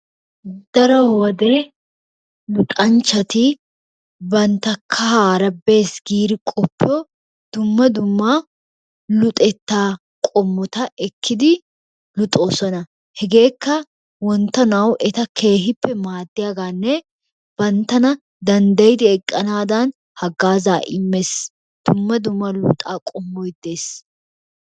Daro wode luxanchchati bantta kahaara bees giidi qoppo dumma dumma luxettaa qommota ekkidi luxoosona. Hegeekka wonttonawu eta keehippe maaddiyaagaanne banttana danddayidi eqqanaadan hagaazzaa immees. Dumma dumma luxettaa qommoy de'ees.